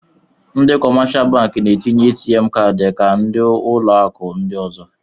Ndị kọmáshá bankị Na-enye ATM káádi ka ndị ụlọ akụ ndị ọ̀zọ